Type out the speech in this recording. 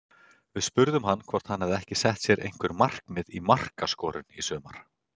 Við spurðum hann hvort hann hafi ekki sett sér einhver markmið í markaskorun í sumar?